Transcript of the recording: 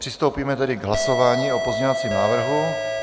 Přistoupíme tedy k hlasování o pozměňovacím návrhu.